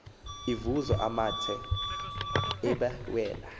evuza amathe ebawela